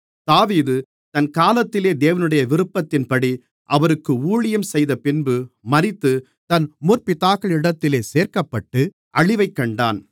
தாவீது தன் காலத்திலே தேவனுடைய விருப்பத்தின்படி அவருக்கு ஊழியம் செய்தபின்பு மரித்து தன் முற்பிதாக்களிடத்திலே சேர்க்கப்பட்டு அழிவைக் கண்டான்